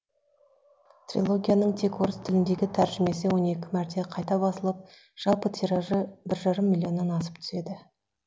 трилогияның тек орыс тіліндегі тәржімесі он екі мәрте қайта басылып жалпы тиражы бір жарым миллионнан асып түседі